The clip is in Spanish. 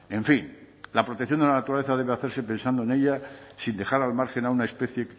en fin la protección de la naturaleza debe hacerse pensando en ella sin dejar al margen a una especie